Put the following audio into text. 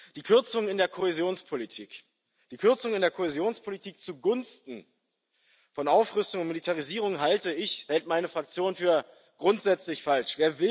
Die Kürzungen in der Kohäsionspolitik, die Kürzungen in der Kohäsionspolitik zugunsten von Aufrüstung und Militarisierung halte ich, hält meine Fraktion für grundsätzlich falsch.